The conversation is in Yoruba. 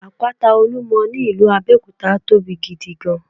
Àpáta Olúmo ní ìlú Abéòkúta tóbi gidi gan